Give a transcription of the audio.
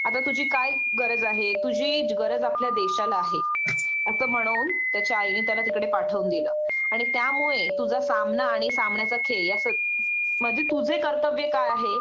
आता तुझी काय गरज आहे तुझी गरज आपल्या देशाला आहे असं म्हणून त्याच्या आईने त्याला तिकडे पाठवून दिलं आणि त्यामुळे तुझा सामना आणि सामन्याचा खेळ याच म्हणजे तुझं कर्तव्य काय आहे